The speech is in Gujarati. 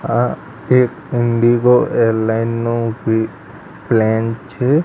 આ એક ઇન્ડિગો એરલાઇન નો પી-પ્લેન છે.